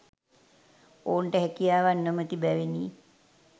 ඔවුන්ට හැකියාවක් නොමැති බැවිනි.